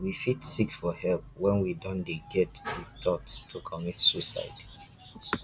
we fit seek for help when we don dey get di thought to commit suicide